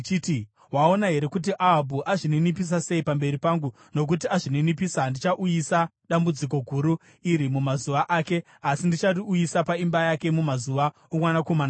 “Waona here kuti Ahabhu azvininipisa sei pamberi pangu? Nokuti azvininipisa, handichauyisa dambudziko guru iri mumazuva ake, asi ndichariuyisa paimba yake mumazuva omwanakomana wake.”